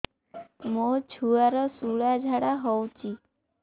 ମୋ ଛୁଆର ସୁଳା ଝାଡ଼ା ହଉଚି